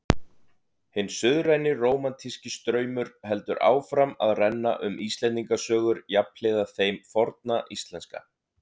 Hinn suðræni rómantíski straumur heldur áfram að renna um Íslendingasögur jafnhliða þeim forna íslenska.